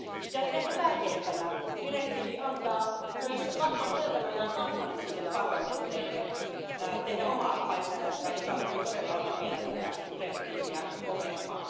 Ja ehkä tärkeimpänä direktiivi antaa myös vahvan selkänojan kansallisille parlamenteille tehdä omaa lainsäädäntöä, joka voi todella olla vielä tätäkin direktiiviä kovempaa.